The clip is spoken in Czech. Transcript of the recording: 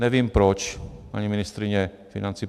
Nevím proč, paní ministryně financí.